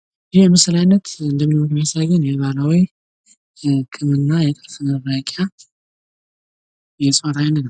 ይህ የምስል አይነት እንደሚያሳየን የባህላዊ የህክምና የጥርስ መፋቂያ የእጽዋት አይነት ነው።